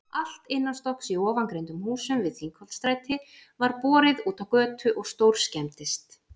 Allt innanstokks í ofangreindum húsum við Þingholtsstræti var borið útá götu og stórskemmdist.